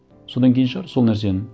содан кейін шығар сол нәрсені